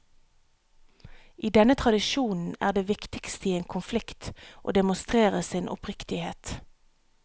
I denne tradisjonen er det viktigste i en konflikt å demonstrere sin oppriktighet.